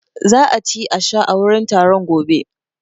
Za a ci a sha a wurin taron gobe.